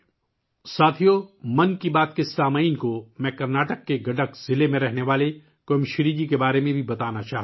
ساتھیو ، میں 'من کی بات' کے سننے والوں کو کرناٹک کے گڈک ضلع میں رہنے والی 'کویم شری' جی کے بارے میں بھی بتانا چاہتا ہوں